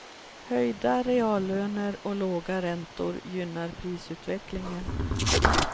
Höjda reallöner och låga räntor gynnar prisutvecklingen.